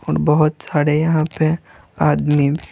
और बहुत साड़े यहां पे आदमी--